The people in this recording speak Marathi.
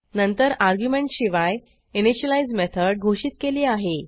नंतर अर्ग्युमेंटशिवाय इनिशियलाईज मेथड घोषित केली आहे